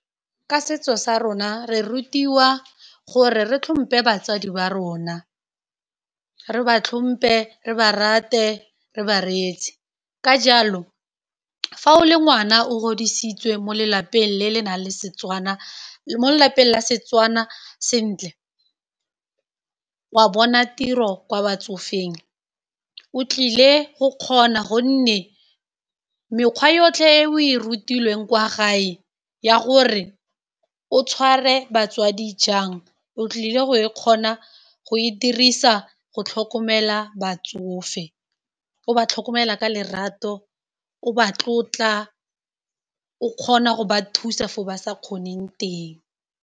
Ka setso sa rona re rutiwa gore re tlhompe batsadi ba rona re ba tlhompe, re ba rate, re ba reetse, ka jalo fa o le ngwana o godisitswe mo lelapeng le le nang le Setswana mo lelapeng la Setswana sentle wa bona tiro kwa batsofeng o tlile go kgona gonne mekgwa yotlhe e o e rutilweng kwa gae ya gore o tshware batswadi jang o tlile go e kgona go e dirisa go tlhokomela batsofe, o ba tlhokomela ka lerato, o ba tlotla, o kgona go ba thusa fo ba sa kgoneng teng.